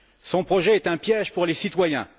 Son projet est un piège pour les citoyens.